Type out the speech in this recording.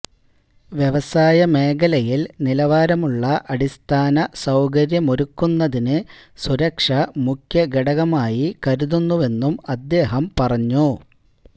വ്യവസായ മേഖലയില് നിലവാരമുള്ള അടിസ്ഥാന സൌകര്യമൊരുക്കുന്നതിന് സുരക്ഷ മുഖ്യ ഘടകമായി കരുതുന്നുവെന്നും അദ്ദേഹം പറഞ്ഞു